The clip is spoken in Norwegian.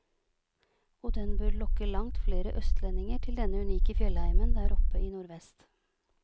Og den bør lokke langt flere østlendinger til denne unike fjellheimen der oppe i nordvest.